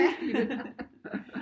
Fast i det